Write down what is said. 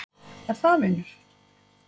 Er það vinur